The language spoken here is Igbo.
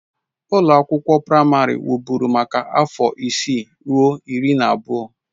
Ụlọ akwụkwọ praịmarị wụ́bụ́ru maka afọ isii ruo iri na abụọ.